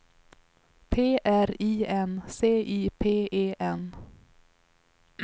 P R I N C I P E N